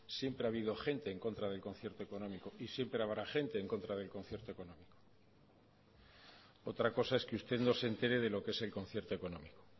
siempre ha habido gente en contra del concierto económico y siempre habrá gente en contra del concierto económico otra cosa es que usted no se entere de lo que es el concierto económico